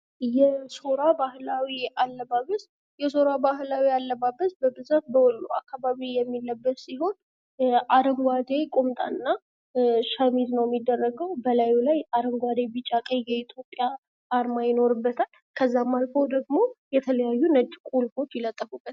የሶራ ባህላዊ አለባበስ የሶራ ባህላዊ አለባበስ በብዛት በወሎ አካባቢ የሚለበስ ሲሆን አረንጓዴ ቁምጣና ሸሚዝ ነው የሚደረገው ላይ አረንጓዴ ቢጫ ቀይ ኢትዮጵያ አርማ ይኖርበታል። ከዛም አልፎ ደግሞ የተለያዩ ነጭ ቁልፎች ይለጥፉበታል።